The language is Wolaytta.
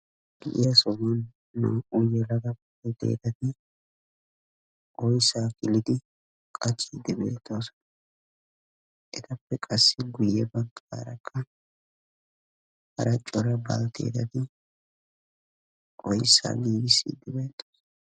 Giya sohuwan naa"u yelaga baltteettati ooyssaa iddimiidi qachchiidi beettoosona. Etappe qassi guye baggaara qa hara Cora baltteettati oyssaa giggissidi beettoosona.